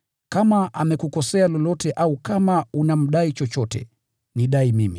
Kama amekukosea lolote au kama unamdai chochote, nidai mimi.